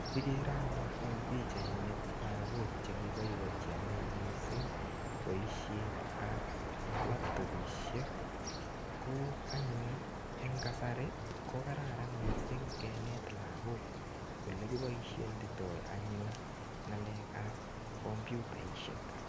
Ikere anyun eng pichait ini, lagok che kiboibochi anyun missing boisietap latopisiek. Ko anyun eng kasari, ko kararan missing kenet lagok ole kiboisienditoi anyun ng'alekap kompyutaisiek.